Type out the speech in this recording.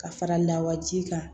Ka fara lawaji kan